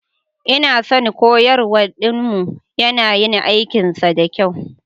Ina son koyarwar Dean mu, yana yin aikinsa da kyau.